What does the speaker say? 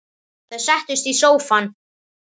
Þau settust í sófann.